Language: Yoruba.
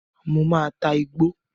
Mo máa ta igbó.